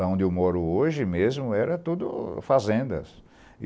Lá onde eu moro hoje mesmo era tudo fazendas.